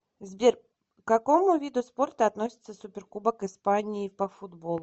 сбер к какому виду спорта относится суперкубок испании по футболу